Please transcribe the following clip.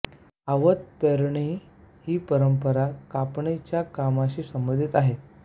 आवत पौनी ही परंपरा कापणीच्या कामाशी संबंधित आहे